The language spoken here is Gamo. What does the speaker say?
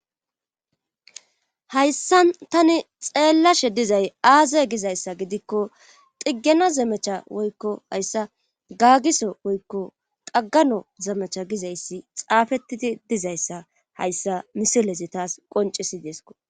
Hayssa tani xeellashe dizay aaza gizayssa gidikko xiggena zemecha woykko hayssa gaagiso woykko xaggano zemecha gizayssi xaafettidi dizayssa hayssa misilezi taas qoncisideesko